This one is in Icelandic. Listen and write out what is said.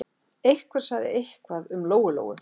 Einhver sagði eitthvað um Lóu-Lóu.